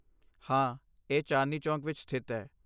ਹਾਂ, ਇਹ ਚਾਂਦਨੀ ਚੌਕ ਵਿੱਚ ਸਥਿਤ ਹੈ।